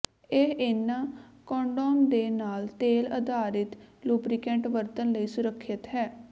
ਇਹ ਇਨ੍ਹਾਂ ਕੰਡੋਮ ਦੇ ਨਾਲ ਤੇਲ ਆਧਾਰਿਤ ਲੂਬਰੀਕੈਂਟ ਵਰਤਣ ਲਈ ਸੁਰੱਖਿਅਤ ਹੈ